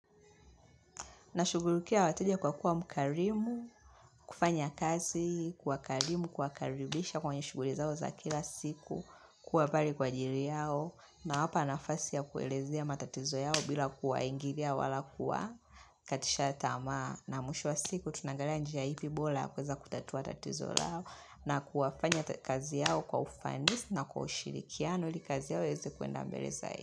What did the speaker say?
Nashugulukia wateja kwa kuwa mkarimu, kufanya kazi, kwa karimu, kuwakaribisha kwenye shughuli zao za kila siku, kuwa pare kwa ajiri yao nawapa nafasi ya kuelezea matatizo yao bila kuwaingilia wala kuwa katisha tamaa na mwisho wa siku tunaangalia njia ipi bola ya kweza kutatua tatizo lao na kuwafanya kazi yao kwa ufanisi na kwa ushirikiano ili kazi yao ieze kwenda mbele zae.